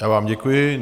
Já vám děkuji.